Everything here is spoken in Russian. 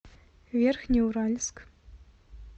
верхнеуральск